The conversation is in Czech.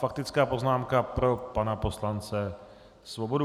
Faktická poznámka pro pana poslance Svobodu.